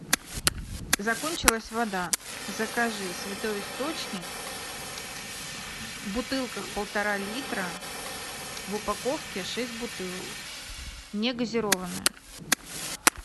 закончилась вода закажи святой источник в бутылках полтора литра в упаковке шесть бутылок негазированная